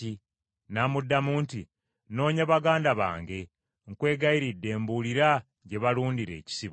N’amuddamu nti, “Noonya baganda bange, nkwegayiridde mbuulira gye balundira ekisibo.”